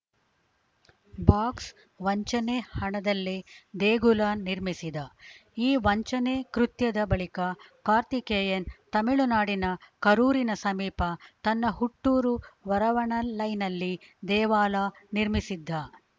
box ವಂಚನೆ ಹಣದಲ್ಲೇ ದೇಗುಲ ನಿರ್ಮಿಸಿದ ಈ ವಂಚನೆ ಕೃತ್ಯದ ಬಳಿಕ ಕಾರ್ತಿಕೇಯನ್‌ ತಮಿಳುನಾಡಿನ ಕರೂರಿನ ಸಮೀಪ ತನ್ನ ಹುಟ್ಟೂರು ವರವಣಲೈನಲ್ಲಿ ದೇವಾಲ ನಿರ್ಮಿಸಿದ್ದ